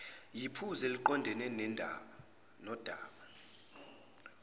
yiphuzu eliqondene nodaba